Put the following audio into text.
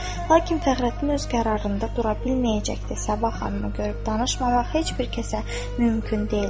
Lakin Fəxrəddin öz qərarında dura bilməyəcəkdi, Sabah xanımı görüb danışmamaq heç bir kəsə mümkün deyildi.